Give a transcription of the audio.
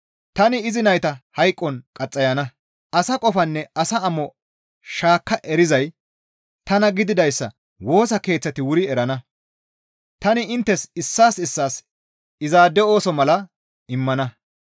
Tani izi nayta hayqon qaxxayana; asa qofanne asa amo shaakka erizay tana gididayssa woosa keeththati wuri erana; tani inttes issaas issaas izaade ooso mala immana.